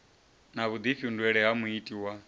na vhuḓifhinduleli ha muiti wa